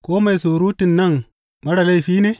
Ko mai surutun nan marar laifi ne?